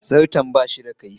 Zarto ba shi da kaifi.